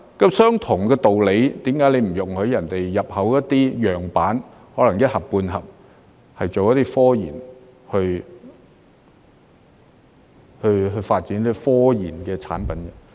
按相同的道理，為何你不容許人家入口一些樣板，可能是一盒半盒，用來做科研、去發展科研的產品？